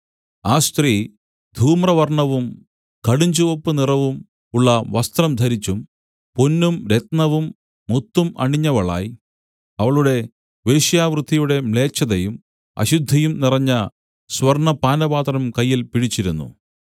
ആ സ്ത്രീ ധൂമ്രവർണ്ണവും കടുഞ്ചുവപ്പ് നിറവും ഉള്ള വസ്ത്രം ധരിച്ചു പൊന്നും രത്നവും മുത്തും അണിഞ്ഞവളായി അവളുടെ വേശ്യാവൃത്തിയുടെ മ്ലേച്ഛതയും അശുദ്ധിയും നിറഞ്ഞ സ്വർണ്ണപാനപാത്രം കയ്യിൽ പിടിച്ചിരുന്നു